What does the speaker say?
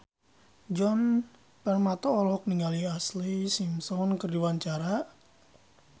Djoni Permato olohok ningali Ashlee Simpson keur diwawancara